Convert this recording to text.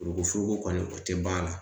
Furukufuruku kɔni o tɛ ban a la